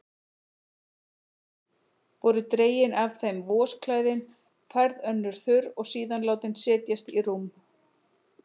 Voru dregin af þeim vosklæðin, færð önnur þurr og síðan látin setjast í rúm.